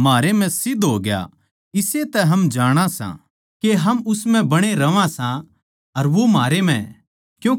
जो कोए या मान ले सै के यीशु परमेसवर का बेट्टा सै परमेसवर उस माणस म्ह वास करै सै अर वो